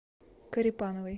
корепановой